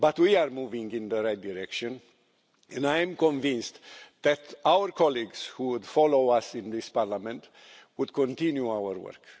But we are moving in the right direction, and I am convinced that our colleagues who would follow us in this Parliament would continue our work.